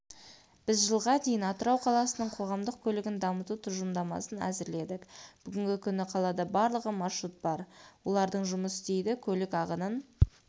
біз жылға дейін атырау қаласының қоғамдық көлігін дамыту тұжырымдамасын әзірледік бүгінгі күні қалада барлығы маршрут бар олардың жұмыс істейді көлік ағынын